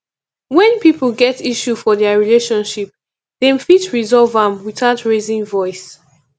when pipo get issue for their relationship dem fit resolve am without raising voice